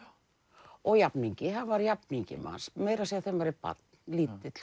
og jafningi hann var jafningi manns meira að segja þegar maður er barn lítill